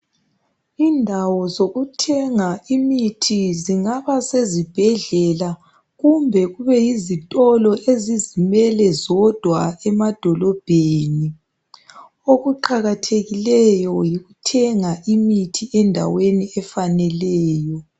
Indawo zokuthenga imithi zingaba sesibhedlela kumbe kube yizitolo ezizimele zodwa emadolobheni , okuqakathekileyo yikuthenga imithi endaweni efaneleyo